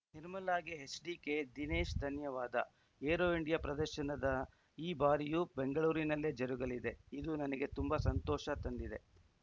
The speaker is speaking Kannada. ನಿರ್ಮಲಾಗೆ ಎಚ್‌ಡಿಕೆ ದಿನೇಶ್‌ ಧನ್ಯವಾದ ಏರೋ ಇಂಡಿಯಾ ಪ್ರದರ್ಶನದ ಈ ಬಾರಿಯೂ ಬೆಂಗಳೂರಿನಲ್ಲೇ ಜರುಗಲಿದೆ ಇದು ನನಗೆ ತುಂಬಾ ಸಂತೋಷ ತಂದಿದೆ